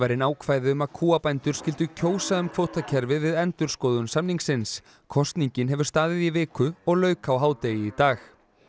inn ákvæði um að kúabændur skyldu kjósa um kvótakerfið við endurskoðun samningsins kosningin hefur staðið í viku og lauk á hádegi í dag